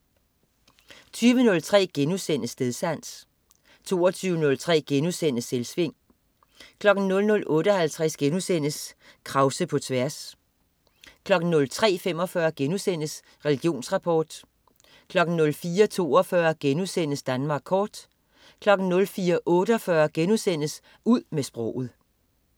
20.03 Stedsans* 22.03 Selvsving* 00.58 Krause på tværs* 03.45 Religionsrapport* 04.42 Danmark kort* 04.48 Ud med sproget*